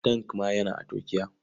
Tank ma yana a Turkiya.